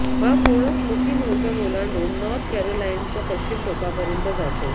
हा पूर्ण Smoky Mountain ओलांडून नॉर्थ कॅरोलायनाच्या पश्चिम टोकापर्यंत जातो